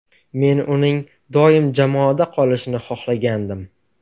Men uning doim jamoada qolishini xohlagandim.